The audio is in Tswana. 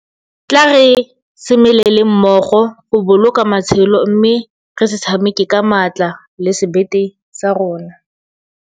Tla re semeleleng mmogo goboloka matshelo mme re se tshameke ka maatla le sebete sa rona.